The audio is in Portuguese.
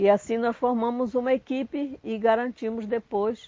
E assim nós formamos uma equipe e garantimos depois